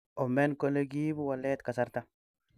omen kole kiibu walet kasarta